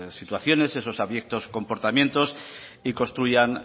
situaciones esos abiertos comportamientos y construyan